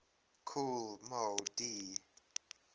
kool moe dee